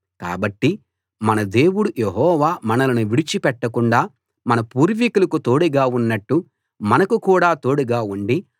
కాబట్టి మన దేవుడు యెహోవా మనలను విడిచి పెట్టకుండా మన పూర్వీకులకు తోడుగా ఉన్నట్టు మనకు కూడా తోడుగా ఉండి